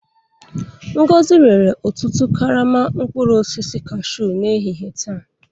Ngozi rere otu karama mkpụrụ osisi kashuu n'ehihie taa.